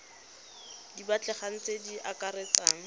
di batlegang tse di akaretsang